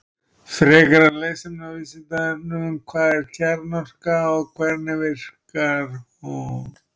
Frekara lesefni á Vísindavefnum: Hvað er kjarnorka og hvernig verkar hún?